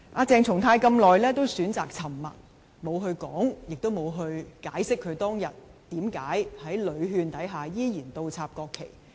鄭松泰一直選擇沉默，沒有說明及解釋他當日為何在屢勸下依然倒插國旗。